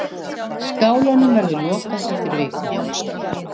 Skálanum verður lokað eftir viku.